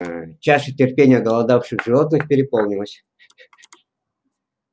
чаша терпения оголодавших животных переполнилась